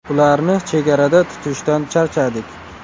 Ularni chegarada tutishdan charchadik.